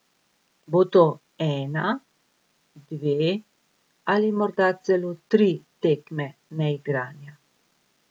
Bo to ena, dve ali morda celo tri tekme neigranja?